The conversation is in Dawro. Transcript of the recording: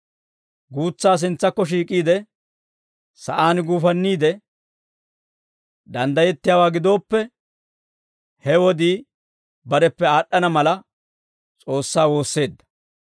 Guutsaa sintsakko shiik'iide, sa'aan guufanniide, danddayettiyaawaa gidooppe, he wodii bareppe aad'd'ana mala, S'oossaa woosseedda.